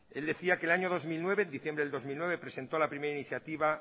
él decía que en diciembre del dos mil nueve presentó a la primera iniciativa